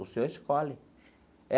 O senhor escolhe.